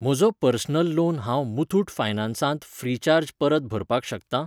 म्हजो personal loan हांव मुथूट फायनॅन्सांत फ्रीचार्ज परत भरपाक शकतां?